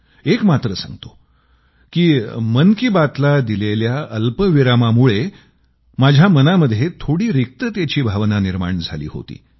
एक मात्र सांगतो की मन की बातला दिलेल्या अल्पविरामामुळं माझ्या मनामध्ये थोडी रिक्ततेची भावना निर्माण झाली होती